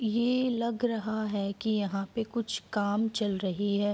ये लग रहा है की यहाँ पे कुछ काम चल रही है।